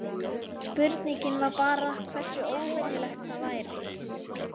Spurningin var bara hversu óvenjulegt það væri.